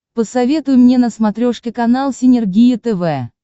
посоветуй мне на смотрешке канал синергия тв